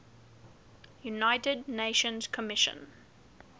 united nations commission